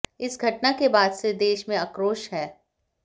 इस घटना के बाद से देश में आक्रोश है